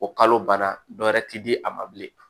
O kalo ban dɔ wɛrɛ tɛ di a ma bilen